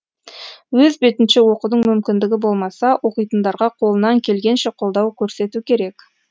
өз бетінше оқудың мүмкіндігі болмаса оқитындарға қолынан келгенше қолдау көрсету керек